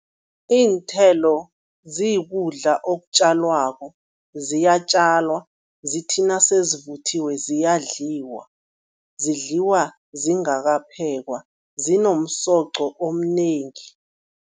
Iinthelo zikudla okutjalwako, ziyatjalwa, zithi nasezivuthiwe ziyadlaliwa. Zidliwa zingakaphekwa, zinomsoqo omnengi.